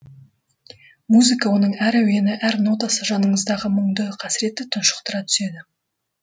музыка оның әр әуені әр нотасы жаныңыздағы мұңды қасіретті тұншықтыра түседі